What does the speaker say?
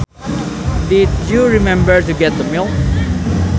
Did you remember to get the milk